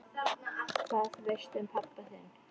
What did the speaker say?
Hvað veistu um pabba þinn?